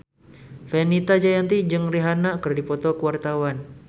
Fenita Jayanti jeung Rihanna keur dipoto ku wartawan